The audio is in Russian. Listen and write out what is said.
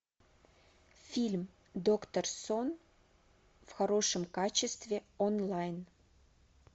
фильм доктор сон в хорошем качестве онлайн